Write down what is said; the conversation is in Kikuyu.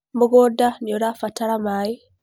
Mũgũnda nĩũrabatara maĩ